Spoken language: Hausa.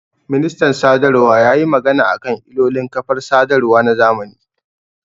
Ministan sadarwa yayi magana akan ilolin kafar sadarwa na zamani